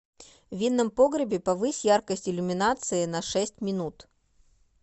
в винном погребе повысь яркость иллюминации на шесть минут